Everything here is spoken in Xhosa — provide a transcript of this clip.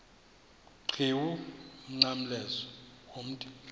qhiwu umnqamlezo womthi